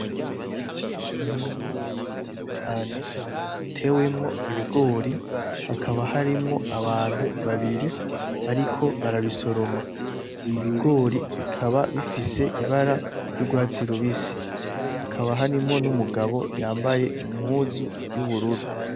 Ni umurima umunyeni cane utewemwo ibigori hakaba harimwo abantu babiri bariko barabisoroma ibigori bikaba bifise ibara ry'urwatsi rubisi hakaba harimwo n'umugabo yambaye umuzu y'ubururu.